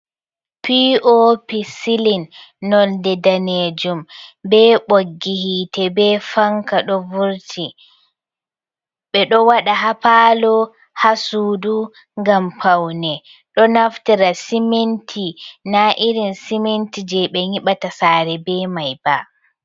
POP sylin noldé ɗanejum ɓe boggi hite ɓe fanka ɗo vurti, beɗo waɗa ha falo ha sudu gam paune ɗo naftira siminti na irin siminti je ɓe nyibata sare ɓe mai ba.